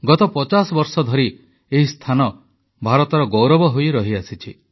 ଗତ ପଚାଶ ବର୍ଷ ଧରି ଏହି ସ୍ଥାନ ଭାରତର ଗୌରବ ହୋଇରହିଆସିଛି